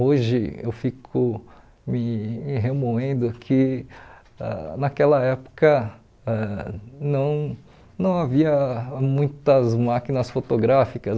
Hoje eu fico me me remoendo que ãh naquela época ãh não não havia muitas máquinas fotográficas.